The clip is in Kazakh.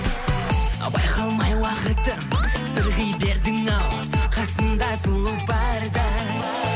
байқалмай уақытым сырғи бердің ау қасымда сұлу барда